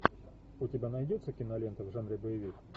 у тебя найдется кинолента в жанре боевик